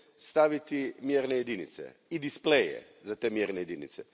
staviti mjerne jedinice i displeje za te mjerne jedinice.